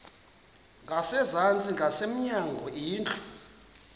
ngasezantsi ngasemnyango indlu